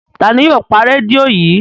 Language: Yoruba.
Ta ni yóò pa rédíò yìí?